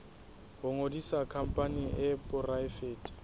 ho ngodisa khampani e poraefete